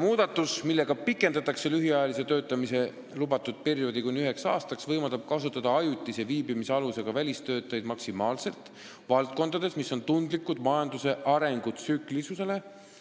Muudatus, millega pikendatakse lühiajalise töötamise lubatud perioodi kuni ühe aastani, võimaldab kasutada ajutise viibimisalusega välistöötajaid maksimaalselt valdkondades, mis on tundlikud majanduse arengu tsüklilisuse tõttu,